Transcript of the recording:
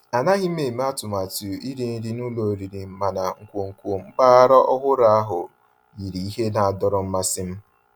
Ànàghị́ m èmé àtụ̀màtụ́ írì nrí ná ụ́lọ̀ ọ̀rị́rị́, mànà nkwonkwo mpàgàrà ọ̀hụ́rụ́ ahụ́ yìrí íhè ná-àdọ̀rọ́ mmàsí m.